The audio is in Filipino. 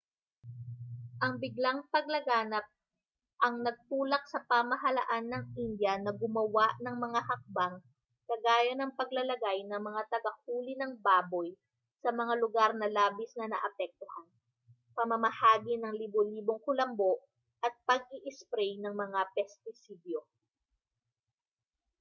ang biglang paglaganap ang nagtulak sa pamahalaan ng india na gumawa ng mga hakbang kagaya ng paglalagay ng mga tagahuli ng baboy sa mga lugar na labis na naapektuhan pamamahagi ng libo-libong kulambo at pag-iisprey ng mga pestisidyo